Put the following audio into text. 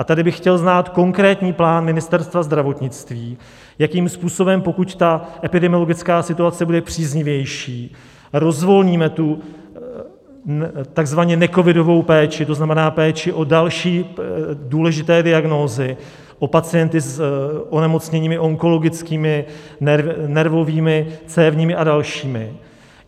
A tady bych chtěl znát konkrétní plán Ministerstva zdravotnictví, jakým způsobem, pokud ta epidemiologická situace bude příznivější, rozvolníme tu takzvaně necovidovou péči, to znamená péči o další důležité diagnózy, o pacienty s onemocněními onkologickými, nervovými, cévními a dalšími.